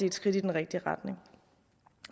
et skridt i den rigtige retning